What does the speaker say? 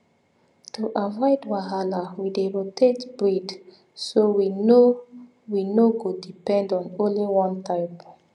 to avoid wahala we dey rotate breed so we no we no go depend on only one type